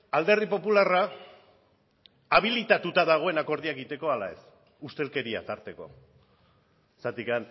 alderdi popularra habilitatuta dagoen akordioa egiteko ala ez ustelkeria tarteko zergatik